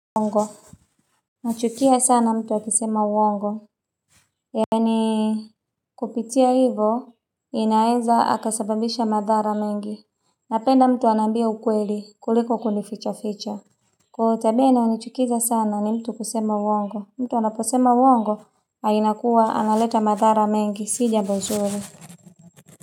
Uongo nachukia sana mtu akisema uongo yaani kupitia hivo inaeza akasababisha madhara mengi napenda mtu anambia ukweli kuliko kuni ficha ficha kwa hiyo tabia inayonichukiza sana ni mtu kusema uongo mtu anaposema uongo hainakuwa analeta madhara mengi si jambo nzuri.